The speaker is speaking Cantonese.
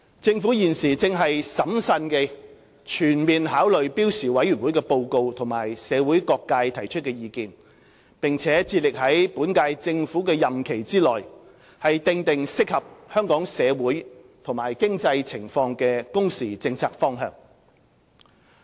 政府現正審慎地全面考慮標時委員會的報告及社會各界提出的意見，並致力在本屆政府的任期內訂定適合香港社會和經濟情況的工時政策方向。